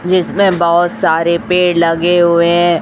जिसमें बहोत सारे पेड़ लगे हुए हैं।